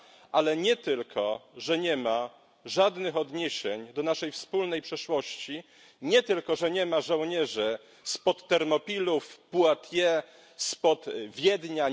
Ale nie tylko nie ma żadnych odniesień do naszej wspólnej przeszłości, nie tylko nie ma żołnierzy spod Termopil, Poitiers, spod Wiednia.